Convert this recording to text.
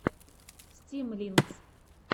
стимлинкс